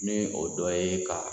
Ni o dɔ ye ka